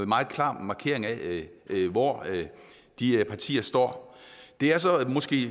meget klar markering af hvor de partier står det er så måske